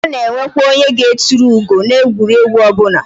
A na enwekwa onye ga etulu ugo na egwuregwu obula